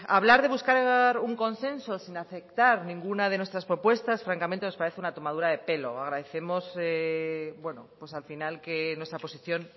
hablar de buscar un consenso sin aceptar ninguna de nuestras propuestas francamente nos parece una tomadura de pelo agradecemos bueno pues al final que nuestra posición